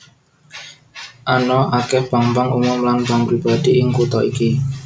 Ana akèh bank bank umum lan bank pribadi ing kutha iki